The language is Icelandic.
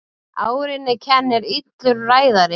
Árinni kennir illur ræðari.